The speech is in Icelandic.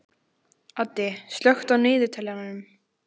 Addi, slökktu á niðurteljaranum.